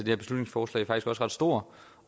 her beslutningsforslag faktisk også ret stor